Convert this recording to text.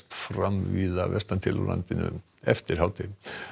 fram víða vestan til á landinu eftir hádegi